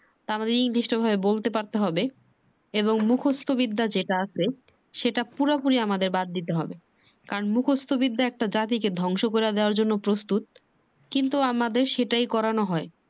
তো আমাদের english ঐভাবে বলতে পড়তে হবে। এবং মুখস্ত বিদ্যা যেটা আছে সেটা পুরাপুরি আমাদের বাদ দিতে হবে। কারণ মুখস্ত বিদ্যা একটা জাতিকে ধ্বংস করে দেওয়ার জন্য প্রস্তুত। কিন্তু আমাদের সেটাই করানো হয়।